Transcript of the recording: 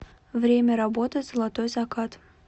время работы золотой закат